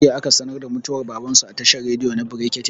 jiya aka sanar da mutuwar baban su a tashar rediyo na brekete